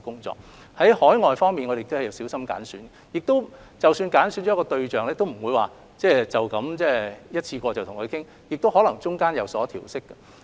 至於海外，我們也會小心揀選，即使揀選了一個地方，也不會只經一次過討論而有所決定，其間可能會有所調適。